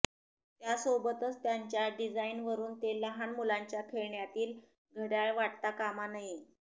त्यासोबतच त्याच्या डिझाईनवरून ते लहान मुलांच्या खेळण्यातील घडयाळ वाटता कामा नये